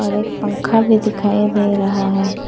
और एक पंखा भी दिखाई दे रहा है।